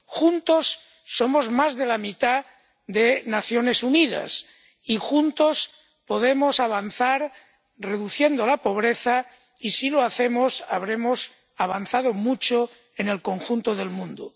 Juntos somos más de la mitad de las Naciones Unidas y juntos podemos avanzar, reduciendo la pobreza y, si lo hacemos, habremos avanzado mucho en el conjunto del mundo.